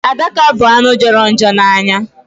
Adaka bụ anụ jọrọ njọ n'anya.